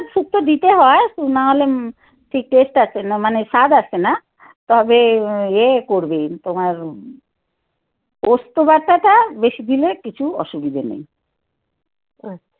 সরষেটা শুক্তো তে দিতে হয় নাহলে taste আছে মানে স্বাদ আছে না তবে এ করবে তোমার পোস্ত বাটা টা বেশি দিলে কিছু অসুবিধে নেই